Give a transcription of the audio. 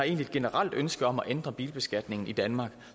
et generelt ønske om at ændre bilbeskatningen i danmark